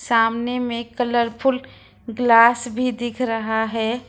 सामने में colourful glass भी दिख रहा है।